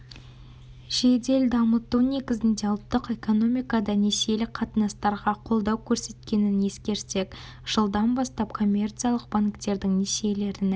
жедел дамыту негізінде ұлттық экономикада несиелік қатынастарға қолдау көрсеткенін ескерсек жылдан бастап коммерциялық банктердің несиелерінің